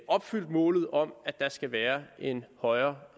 opfyldt målet om at der skal være en højere